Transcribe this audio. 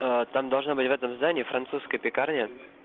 там должна быть в этом здании французская пекарня